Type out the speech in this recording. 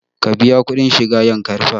Ka biya kuɗin shiga yankari park!